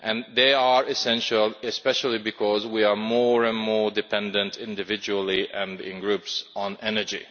They are essential especially because we are more and more dependent, individually and in groups, on energy.